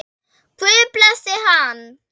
Guð blessi hann.